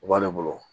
U b'ale bolo